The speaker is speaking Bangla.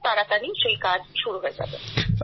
খুব তাড়াতাড়ি সেই কাজ শুরু হবে